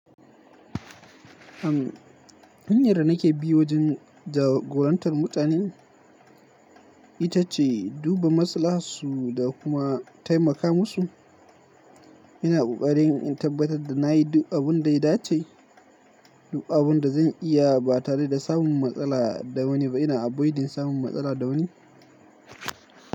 Am, hanyar da nake bi wajen jagorantar mutane ita ce duba masalaharsu da kuma taimaka musu. Ina ƙoƙarin in tabbatar da na yi duk abin da ita ce, duk abin da zan iya ba tare da samun matsala da wani ba. Ina avoiding samun matsala da wani.